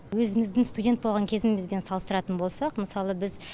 өзіміздің студент болған кезімізбен салыстыратын болсақ мысалы біз